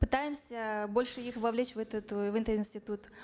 пытаемся больше их вовлечь в этот в этот институт